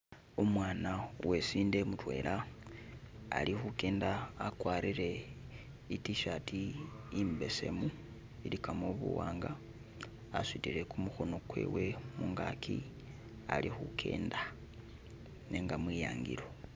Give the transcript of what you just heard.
Umwana wesinde mudwela ali khugenda agwarile itishaati imbesemu iligamo buwanga asudile gumukhono gwewe mungagi ali khugenda nega mwiyangilo.